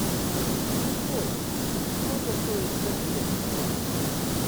джой сколько стоит тенге